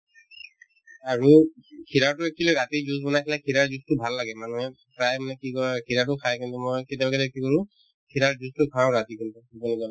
আৰু kheera তো actually ৰাতি juice বনাই কিনে kheera ৰৰ juice তো ভাল লাগে মানে প্ৰায় মানুহে কি কৰে kheera তো খাই কিন্তু মই কেতিয়াবা কেতিয়াবা কি কৰো kheera ৰৰ juice তো খাওঁ ৰাতি কিন্তু